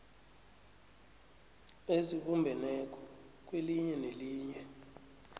ezibumbeneko kwelinye nelinye